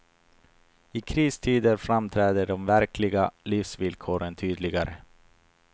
I kristider framträder de verkliga livsvillkoren tydligare.